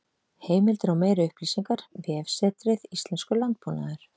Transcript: Heimildir og meiri upplýsingar: Vefsetrið Íslenskur landbúnaður.